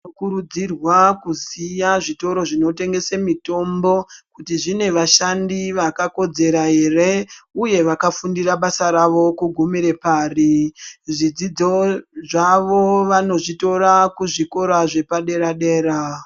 Zvinokurudzirwa kuziya zvitoro zvinotengese mitombo kuti zvine vashandi vakakodzera ere uye vakafundira basa ravo kugumira pari. Zvidzidzi zvavo vanozvitora kuzvikora zvepadera dera.